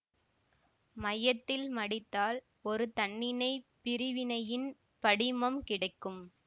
மையத்தில் மடித்தால் ஒரு தன்னிணைப் பிரிவினையின் படிமம் கிடைக்கும்